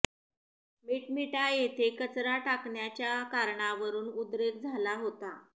मिटमिटा येथे कचरा टाकण्याचा कारणावरून उद्रेक झाला होता